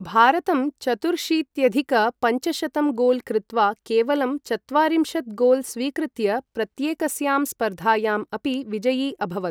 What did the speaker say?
भारतं, चतुर्शीत्यधिक पञ्चशतं गोल् कृत्वा केवलं चत्वारिंशत् गोल् स्वीकृत्य, प्रत्येकस्यां स्पर्धायाम् अपि विजयि अभवत्।